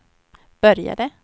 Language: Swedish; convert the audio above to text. började